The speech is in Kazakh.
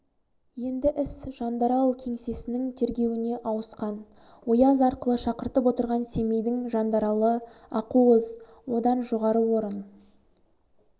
енді іс жандарал кеңсесінің тергеуіне ауысқан ояз арқылы шақыртып отырған семейдің жандаралы ақуыз одан жоғары орын